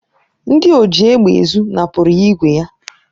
Ndị oji égbè ezụ napụrụ ya ígwè ya.